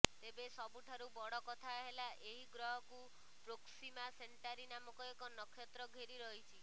ତେବେ ସବୁଠାରୁ ବଡ କଥା ହେଲା ଏହି ଗ୍ରହକୁ ପ୍ରୋକ୍ସିମା ସେଣ୍ଟାରୀ ନାମକ ଏକ ନକ୍ଷତ୍ର ଘେରି ରହିଛି